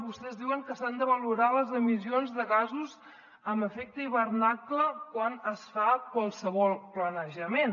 vostès diuen que s’han de valorar les emissions de gasos amb efecte d’hivernacle quan es fa qualsevol planejament